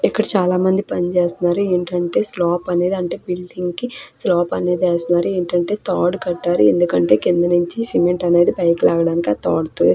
ఇక్కడ చాలా మంది పని చేస్నారు ఏంటంటే స్లాప్ అనేది అంటే బిల్డింగ్ కి స్లాప్ అనేది ఎస్తున్నరు ఏంటంటే తాడు కట్టారు ఎందుకంటే కింద నుంచి సిమెంట్ అనేది పైకిలాగాడనికి ఆ తాడుతో --